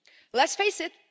Let's face it.